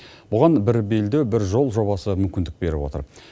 бұған бір белдеу бір жол жобасы мүмкіндік беріп отыр